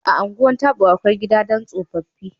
A Ungwan Tabo, akwai Gida don tsofaffi